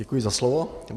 Děkuji za slovo.